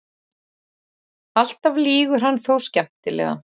Alltaf lýgur hann þó skemmtilega.